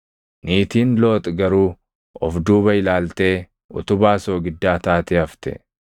Niitiin Looxi garuu of duuba ilaaltee utubaa soogiddaa taatee hafte.